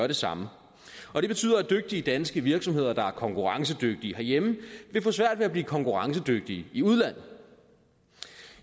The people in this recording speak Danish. det samme og det betyder at dygtige danske virksomheder der er konkurrencedygtige herhjemme vil få svært ved at blive konkurrencedygtige i udlandet